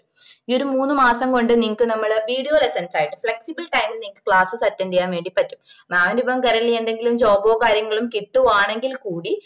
ഈ ഒരു മൂന്ന് മാസം കൊണ്ട് നിങ്ങള്ക്ക് നമ്മള് video lessons അയക്കും flexible time നിങ്ങക്ക്‌ classess attend ചെയ്യാൻ വേണ്ടി പറ്റും mam ന് ഇപ്പൊ currently എന്തെങ്കിലും job ഓ കാര്യങ്ങളും കിട്ടുവാണെങ്കില് കൂടി